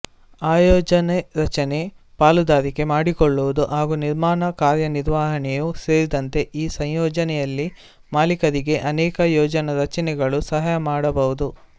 ಆಯೋಜನೆರಚನೆ ಪಾಲುದಾರಿಕೆ ಮಾಡಿಕೊಳ್ಳುವುದು ಹಾಗೂ ನಿರ್ಮಾಣ ಕಾರ್ಯನಿರ್ವಹಣೆಯೂ ಸೇರಿದಂತೆ ಈ ಸಂಯೋಜನೆಯಲ್ಲಿ ಮಾಲಿಕರಿಗೆ ಅನೇಕ ಯೋಜನಾ ರಚೆನೆಗಳು ಸಹಾಯಮಾಡಬಹುದು